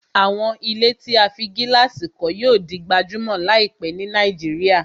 Àwọn ilé tí a fí gílàsì kọ́ yíò di gbajúmọ̀ láìpẹ́ ni Nàìjíríà